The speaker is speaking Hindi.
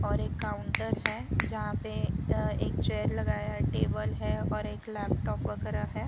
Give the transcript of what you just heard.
और एक काउंटर है जहां पे अ एक चेयर लगाया है टेबल है और एक लैपटॉप वगैरह है।